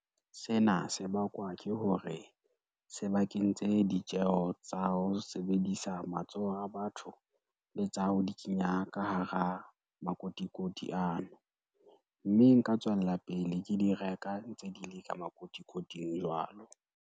Sena se bakwa ke hore, se ba kentse ditjeho tsa ho sebedisa matsoho a batho, le tsa ho di kenya ka hara makotikoti ano. Mme nka tswella pele ke di reka ntse di le ka makotikoting jwalo.